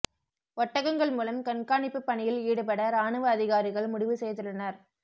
ஒட்டகங்கள் மூலம் கண்காணிப்பு பணியில் ஈடுபட ராணுவ அதிகாரிகள் முடிவு செய்துள்ளனர்